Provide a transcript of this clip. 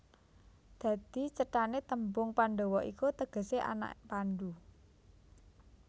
Dadi cethané tembung Pandhawa iku tegesé anak Pandhu